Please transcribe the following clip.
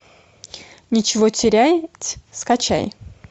нечего терять скачай